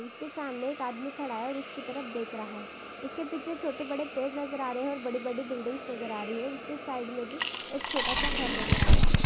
उसके सामने एक आदमी खड़ा है और उसकी तरफ देख रहा है उसके पीछे छोटे बड़े पेड़ नजर आ रहे है और बड़ी बड़ी बिल्डिंगस नजर आ रही है और उसके साइड मे भी एक छोटा सा घर नजर आ रहा है।